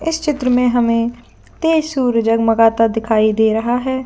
इस चित्र में हमें तेज सूरज जगमगदा हुआ दिखाई दे रहा है।